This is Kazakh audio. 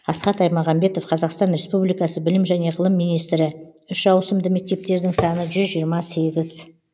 асхат аймағамбетов қазақстан республикасы білім және ғылым министрі үш ауысымды мектептердің саны жүз жиырма сегіз